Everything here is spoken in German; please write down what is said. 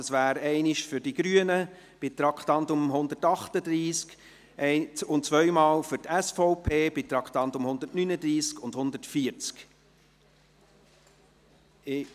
– Es ist einmal ein Ordnungsantrag der Grünen betreffend Traktandum 138, und es sind zwei von der SVP betreffend die Traktanden 139 und 140.